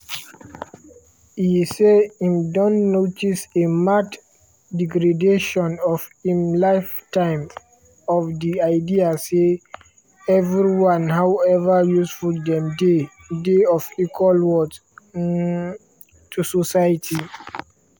e say im don notice a marked degradation for im lifetime of di idea say “everyone however useful dem dey dey of equal worth um to society”.